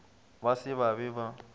ba se ba be ba